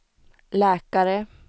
läkare